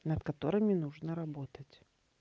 над которыми нужно работать